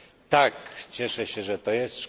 Tak, cieszę się, że to jest.